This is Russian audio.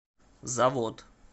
завод